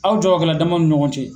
Aw jagokɛlaw damaw ni ɲɔgɔn cɛ.